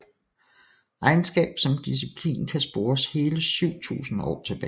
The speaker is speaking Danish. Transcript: Regnskab som disciplin kan spores hele 7000 år tilbage